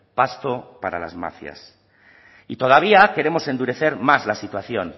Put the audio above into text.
pasto para las mafias y todavía queremos endurecer más la situación